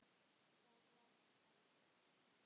Og það var bannað.